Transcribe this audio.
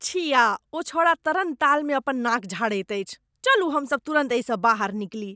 छिया! ओ छौंड़ा तरणतालमे अपन नाक झाड़ैत अछि। चलू हम सभ तुरन्त एहिसँ बाहर निकली।